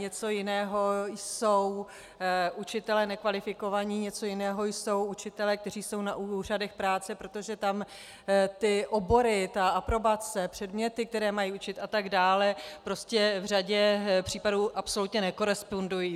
Něco jiného jsou učitelé nekvalifikovaní, něco jiného jsou učitelé, kteří jsou na úřadech práce, protože tam ty obory, ta aprobace, předměty, které mají učit a tak dále, prostě v řadě případů absolutně nekorespondují.